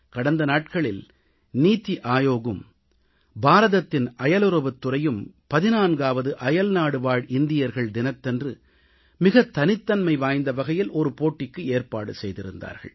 கடந்த நாட்களில் நித்தி ஆயோக்கும் பாரதத்தின் அயலுறவுத் துறையும் 14ஆவது அயல்நாடுவாழ் இந்தியர்கள் தினத்தன்று மிகத் தனித்தன்மை வாய்ந்த வகையில் ஒரு போட்டிக்கு ஏற்பாடு செய்திருந்தார்கள்